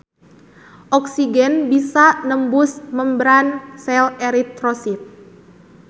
Oksigen bisa nembus membran sel eritrosit.